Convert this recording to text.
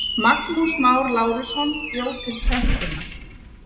Magnús Már Lárusson bjó til prentunar.